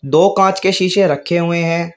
दो कांच के शीशे रखे हुए है।